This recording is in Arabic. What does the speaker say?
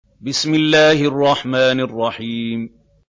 بِسْمِ اللَّهِ الرَّحْمَٰنِ الرَّحِيمِ